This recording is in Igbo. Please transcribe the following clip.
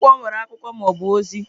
Akwụkwọ nwere akụkọ ma ọ bụ ozi.